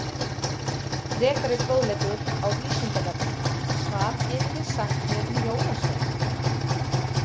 Frekari fróðleikur á Vísindavefnum Hvað getið þið sagt mér um jólasveina?